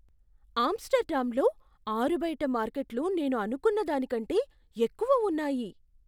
ఆమ్స్టర్డామ్లో ఆరుబయట మార్కెట్లు నేను అనుకున్న దానికంటే ఎక్కువ ఉన్నాయి.